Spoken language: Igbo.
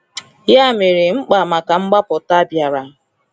Ya mere, mkpa maka mgbapụta bịara.